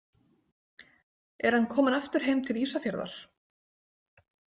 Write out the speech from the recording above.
Er hann kominn aftur heim til Ísafjarðar?